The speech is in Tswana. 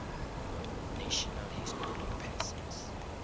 national historic persons